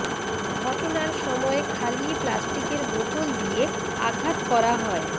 ঘটনার সময় খালি প্লাস্টিকের বোতল দিয়ে আঘাত করা হয়